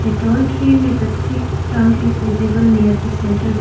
A tall tree with a thick trunk is visible near the centre ba --